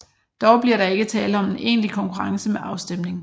Dog bliver der ikke tale om en egentlig konkurrence med afstemning